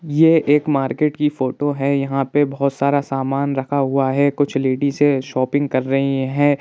ये एक मार्केट की फोटो है यहां पे बहुत सारा सामान रखा हुआ है कुछ लेडीजे शोपिंग कर रही हैं।